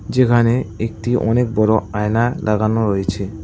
যেখানে একটি অনেক বড়ো আয়না দাগানো রয়েছে।